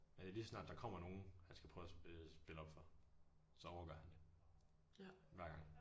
Øh lige så snart der kommer nogen han skal prøve at spille spille op for så orker han det. Hver gang